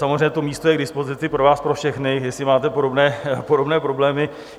Samozřejmě to místo je k dispozici pro vás pro všechny, jestli máte podobné problémy.